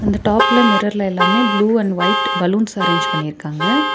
இந்த டாப்ல மிரர்ல எல்லாமே blue and white balloons arrange பண்ணிருக்காங்க.